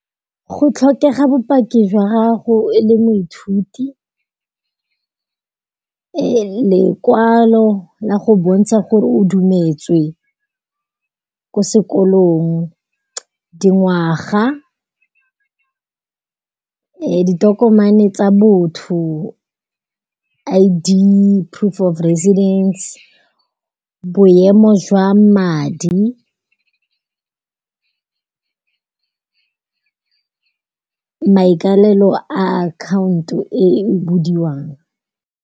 Go tlhokega bopaki jwa gago e le moithuti, lekwalo la go bontsha gore o dumetswe ko sekolong dingwaga, ditokomane tsa botho, I_D, proof of residence, boemo jwa madi, maikalelo a akhaonto e e budiwang.